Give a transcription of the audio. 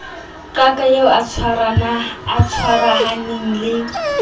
qaka eo a tshwarahaneng le